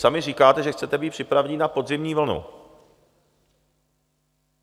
Sami říkáte, že chcete být připraveni na podzimní vlnu.